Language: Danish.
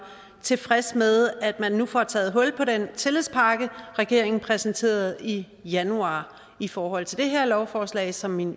tilfreds med at man nu får taget hul på den tillidspakke regeringen præsenterede i januar i forhold til det her lovforslag som mine